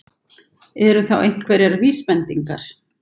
Eru þá einhverjar vísbendingar?